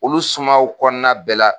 Olu sumanw kɔnɔna na bɛɛ la